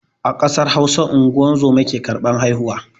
A ƙasar Hausa unguwar zoma ke karban haihuwa.